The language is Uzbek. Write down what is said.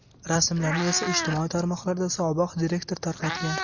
Rasmlarni esa ijtimoiy tarmoqlarda sobiq direktor tarqatgan.